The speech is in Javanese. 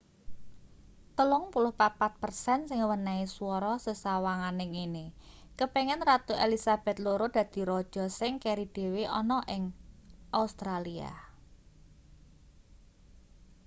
34 per sen sing menehi swara sesawangane ngene kepengin ratu elizabeth ii dadi raja sing keri dhewe ana ning australia